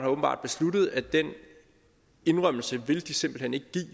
åbenbart besluttet at den indrømmelse vil de simpelt hen ikke give